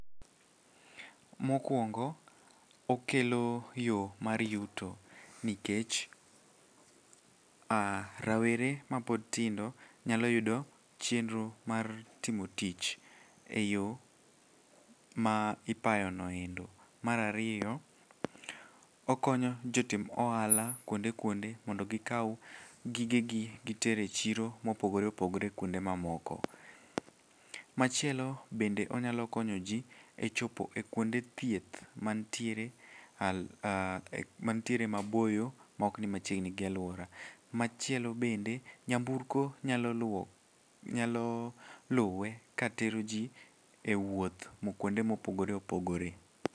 Mokwongo, okelo yo mar yuto nikech ah rawere mapod tindo nyalo yudo chenro mar timo tich e yo ma ipayono endo. Mar ariyo okonyo jotim ohala kuonde kuonde mondo gikaw gigegi giter e chiro mopogore opogre kuonde mamoko. Machielo bende onyalo konyo ji e chopo kuonde thieth mantiere maboyo maokni machiegni gi alwora. Machielo bende, nyamburko nyalo luwe katero ji wuoth kuonde mopogore opogore.